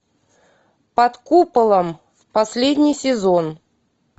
под куполом последний сезон